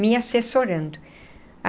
me assessorando.